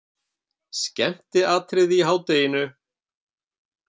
Skemmtiatriði í hádeginu!